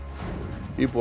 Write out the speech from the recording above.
íbúar